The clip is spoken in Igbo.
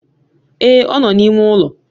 Ee, ọ nọ na-ime ụlọ